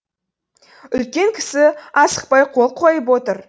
үлкен кісі асықпай қол қойып отыр